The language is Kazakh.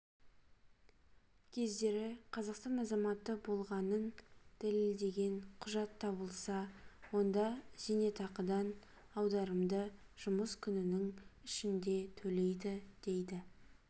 кездері қазақстан азаматы болғаны дәлелденген құжат табылса онда зейнетақыдан аударымды жұмыс күнінің ішінде төлейді дейді